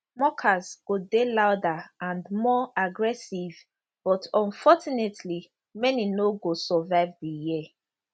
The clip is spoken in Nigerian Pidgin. mockers go dey louder and more aggressive but unfortunately many no go survive di year